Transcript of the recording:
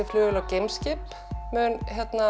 flugvél og geimskip mun